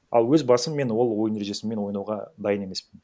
ал өз басым мен ол ойын ережесімен ойнауға дайын емеспін